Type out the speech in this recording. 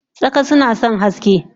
Tsaka nason sunasan haske